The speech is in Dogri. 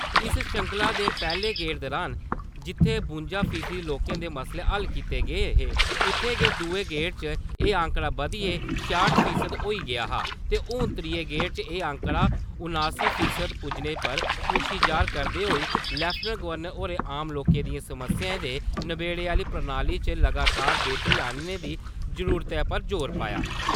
इस श्रृंखला दे पैह्ले गेड़ दुरान जित्थै बुंजा फीसद लोकें दे मसले हल कीते गे हे उत्थै गै दुए गेड़ च एह् आंकड़ा बधियै छेआट फीसद होई गेआ हा ते हून त्रीये गेड़ च एह् आंकड़ा उनासी फीसद पुज्जने पर खुशी जाह्‌र करदे होई लेफ्टिनेंट गवर्नर होरें आम लोकें दियें समस्याएं दे नबेड़े आह्ली प्रणाली च लगातार बेहतरी आह्न्ने दी जरूरतै पर जोर पाया।